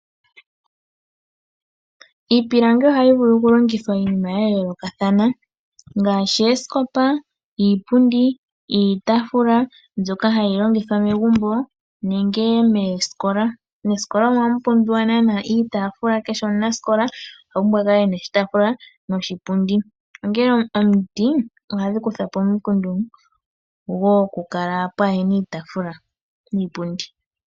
Iipilangi ohayi vulu okulongithwa miinima ya yoolokathana ngaashi: oosikopa, iipundi, iitaafula mbyoka hayi longithwa megumbo nenge moosikola . Moosikola omo naanaa hamu pumbiwa iitaafula niipundi kukehe omunasikola . Omiti ohadhi kutha po omikundu wo okukala pwaahena iitaafula niipundi.